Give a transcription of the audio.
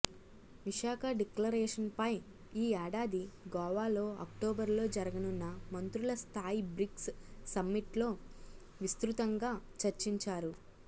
విశాఖ డిక్లరేషన్పై ఈ ఏడాది గోవాలో అక్టోబర్లో జరుగనున్న మంత్రుల స్థాయి బ్రిక్స్ సమ్మిట్లో విస్తృతంగా చర్చిస్తారు